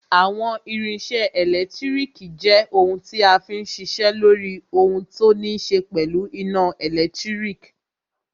Àwọn irinṣẹ́ ẹlẹtíríkì jẹ́ ohun tí a fí n ṣiṣẹ́ lóri ohun tó ní ṣe pẹ̀lú iná ẹ̀lẹ́tírík.